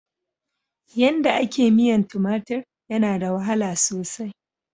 Yanda a ke miyan tumatur yana da wahala sosai.